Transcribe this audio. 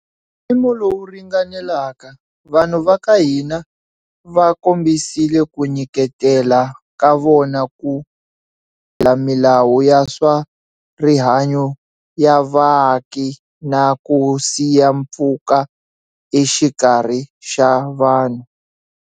Hi mpimo lowu ringanelaka, vanhu va ka hina va kombisile ku nyiketela ka vona ku landzelela milawu ya swa rihanyu ya vaaki na ku siya mpfhuka exikarhi ka vanhu.